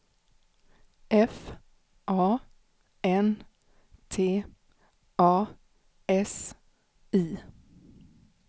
F A N T A S I